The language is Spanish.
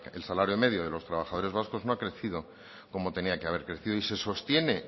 el salario medio de los trabajadores vascos no ha crecido como tenía que haber crecido y se sostiene